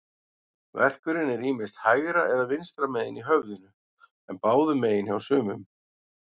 Verkurinn er ýmist hægra eða vinstra megin í höfðinu, en báðum megin hjá sumum.